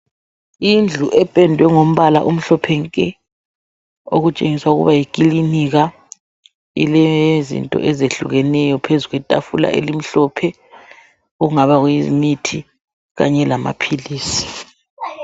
Indlu ependwe ngombala omhlophe nke okutshengisa ukuba yikilinika. Ilezinto ezehlukeneyo phezu kwetafula elimhlophe okungaba kuyimithi kanye lamaphilisi.